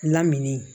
Lamini